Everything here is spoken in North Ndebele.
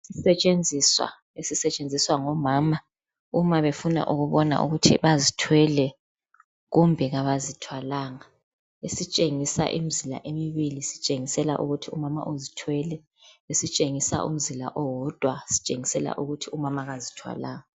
Isisetshenziswa esisetshenziswa ngomama uma befuna ukubona ukuthi bazithwele kumbe kabazithwalanga, esitshengisa imizila emibili sitshengisela ukuthi umama uzithwele, esitshengisa umzila owodwa sitshengisa ukuthi umama kazithwalanga.